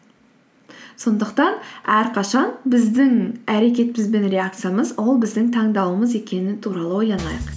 сондықтан әрқашан біздің әрекетіміз бен реакциямыз ол біздің таңдауымыз екені туралы ойланайық